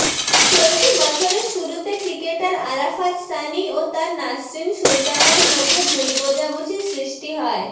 চলতি বছরের শুরুতে ক্রিকেটার আরাফাত সানি ও তার নাসরিন সুলতানার মধ্যে ভুল বোঝাবুঝি সৃষ্টি হয়